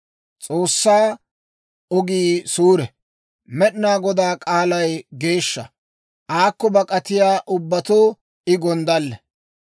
S'oossaa ogii suure. Med'inaa Godaa k'aalay geeshsha. Aakko bak'atiyaa ubbatoo I gonddalle.